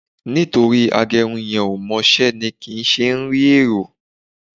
Nítorí agẹrun yẹn ò mọ iṣẹ́ ni kì í ṣe ń rí èrò